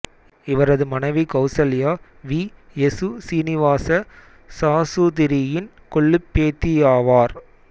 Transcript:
இவரது மனைவி Kausalya V S Srinivasa சாசுதிரியின் கொள்ளுப்பேத்தியாவார்